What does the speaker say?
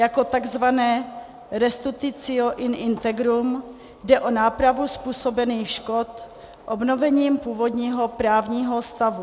Jako tzv. restitutio in integrum jde o nápravu způsobených škod obnovením původního právního stavu.